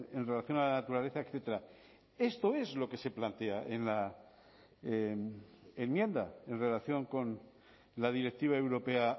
en relación a la naturaleza etcétera esto es lo que se plantea en la enmienda en relación con la directiva europea